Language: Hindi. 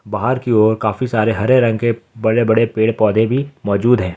बाहर की ओर काफी सारे हरे रंग के बड़े बड़े पेड़ पौधे भी मौजूद है।